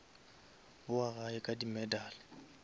bowa gae ka di medal